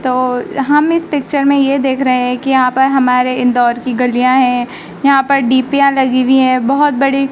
तो हम इस पिक्चर मे ये देख रहे हैं कि यहां पर हमारे इंदौर की गलियां है यहां पर डीपियां लगी हुई हैं बहोत बड़ी--